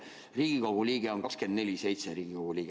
Riigikogu liige on 24/7 Riigikogu liige.